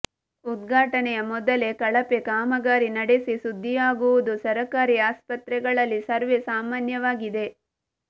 ಉದ್ಗಾಟನೆಯ ಮೊದಲೇ ಕಳಪೆ ಕಾಮಗಾರಿ ನಡೆಸಿ ಸುದ್ದಿಯಾಗುವುದು ಸರಕಾರಿ ಆಸ್ಪತ್ರೆಗಳಲ್ಲಿ ಸರ್ವೇ ಸಾಮಾನ್ಯವಾಗಿದೆ